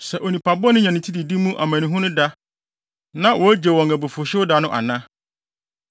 sɛ onipa bɔne nya ne ti didi mu amanehunu da, na wogye wɔn abufuwhyew da no ana?